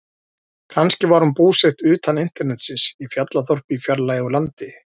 Kannski var hún búsett utan internetsins, í fjallaþorpi í fjarlægu landi.